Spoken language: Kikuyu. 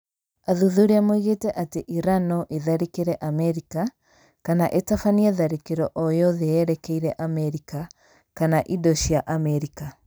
Athuthuria moigĩte atĩ Iran no ĩtharĩkĩre Amerika, kana ĩtabanie tharĩko o yothe yerekeirie Amerika kana indo cia Amerika.